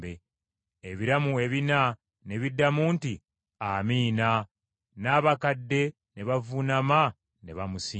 Ebiramu ebina ne biddamu nti, “Amiina.” N’abakadde ne bavuunama ne bamusinza.